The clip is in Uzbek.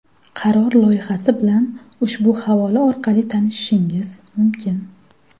Qaror loyihasi bilan ushbu havola orqali tanishishingiz mumkin.